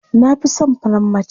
Na fi son farar mace.